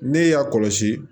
Ne y'a kɔlɔsi